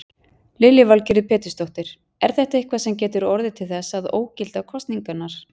Lillý Valgerður Pétursdóttir: Er þetta eitthvað sem getur orðið til þess að ógilda kosningarnar?